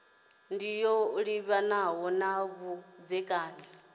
ndi yo livhanaho na vhudzekani